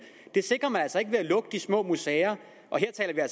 det sikrer man altså ikke ved at lukke de små museer og her taler